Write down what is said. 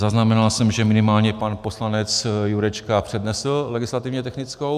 Zaznamenal jsem, že minimálně pan poslanec Jurečka přednesl legislativně technickou.